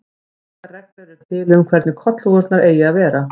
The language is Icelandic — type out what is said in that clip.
Engar reglur eru til um hvernig kollhúfurnar eigi að vera.